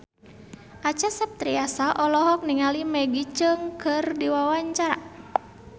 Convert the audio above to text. Acha Septriasa olohok ningali Maggie Cheung keur diwawancara